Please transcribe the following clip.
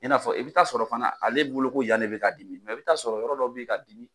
I n'a fɔ i bɛ t'a sɔrɔ fana ale bolo ko yan ne bɛ k'a dimi mɛ i bɛ t'a sɔrɔ yɔrɔ dɔ bɛ ka dimi